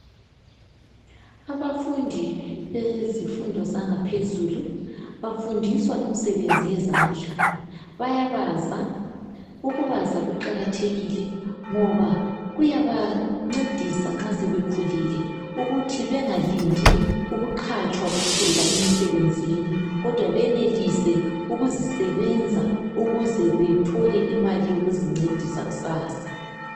Abafundi bemfundo yaphezulu bafundiswa imisebenzi yezandla bayabaza ukubaza kuqakathekile ngoba kuyabangcedisa sebekhulile ukuthi bengalindi ukuqatshwa kuphela emsebenzini kodwa benelise ukuzisebenza ukuze bethole imali yokuzincedisa kusasa